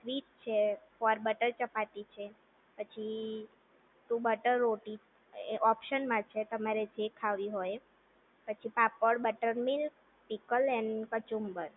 sweet છે ઓર butter chapati છે પછી ટુ બટર રોટી છે ઓપ્શનમાં છે તમારે જે ખાવી હોય એ પછી પાપડ બટનમિલ્ક પીપલ એન્ડ કચુંબર